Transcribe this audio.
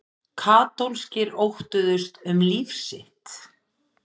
Katólskir óttuðust um líf sitt.